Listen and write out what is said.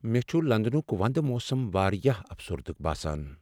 مےٚ چھ لندنُک وندٕ موسم واریاہ افسردٕ باسان۔